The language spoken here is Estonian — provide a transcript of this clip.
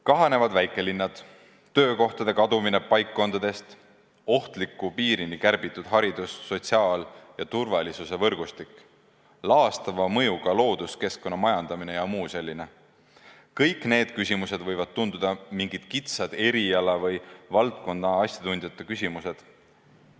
Kahanevad väikelinnad, töökohtade kadumine paikkondadest, ohtliku piirini kärbitud haridus-, sotsiaal- ja turvalisusvõrgustik, laastava mõjuga looduskeskkonna majandamine ja muu selline – kõik need küsimused võivad tunduda mingite kitsa valdkonna asjatundjate küsimustena.